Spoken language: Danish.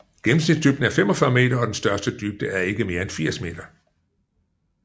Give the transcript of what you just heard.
Gennemsnitsdybden er 45 meter og den største dybde er ikke mere end 80 m